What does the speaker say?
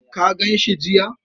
Ka gan shi jiya?